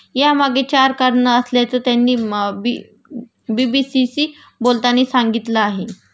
यामागे चार कारण असल्याचं त्यांनी बी बी सी शी बोलताना सांगितलं आहे